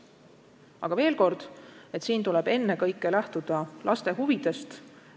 Aga veel kord, siin tuleb ennekõike lähtuda laste huvidest.